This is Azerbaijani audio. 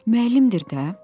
Müəllimdir də!